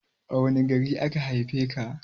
A wani gari aka haife ka?